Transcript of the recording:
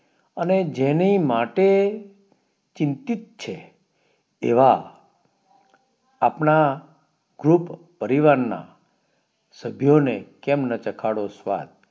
અને જેની માટે ચિંતિત છે એવા આપણા ખુબ પરિવાર ના સભ્યોને કેમ ના ચખાડો સ્વાદ